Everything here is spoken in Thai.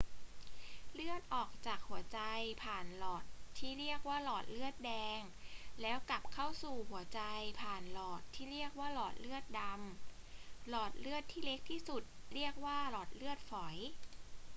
เลือดออกจากหัวใจผ่านหลอดที่เรียกว่าหลอดเลือดแดง แล้วกลับเข้าสู่หัวใจผ่านหลอดที่เรียกว่าหลอดเลือดดำ หลอดเลือดที่เล็กที่สุดเรียกว่าหลอดเลือดฝอย